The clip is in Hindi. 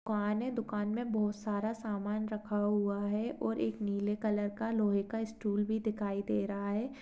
दुकान है दुकान में बहोत सारा सामान रखा हुआ है और एक नीले कलर का लोहे का स्टूल भी दिखाई दे रहा है।